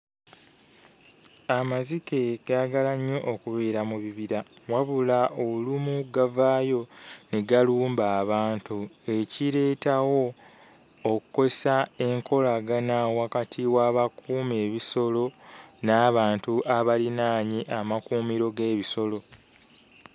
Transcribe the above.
Amazike gaagala nnyo okubeera mu bibira wabula olumu gavaayo ne galumba abantu, ekireetawo okkosa enkolagana wakati w'abakuuma ebisolo n'abantu abalinaanye amakuumiro g'ebisolo.